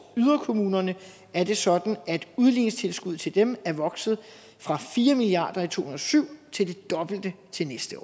yderkommunerne er det sådan at udligningstilskuddet til dem er vokset fra fire milliard i tusind og syv til det dobbelte til næste